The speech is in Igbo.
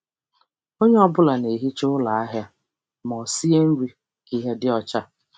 Onye ọ bụla na-ehicha ụlọ ahịa ma ọ sie nri ka ihe dị ọcha.